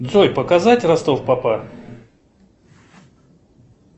джой показать ростов папа